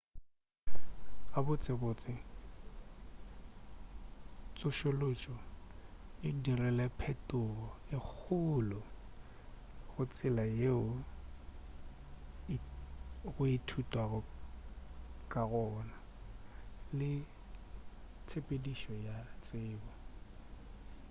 gabotsebotse tsošološo e dirile phetogo e kgolo go tsela yeo go ithutwago ka gona le tshepedišo ya tsebo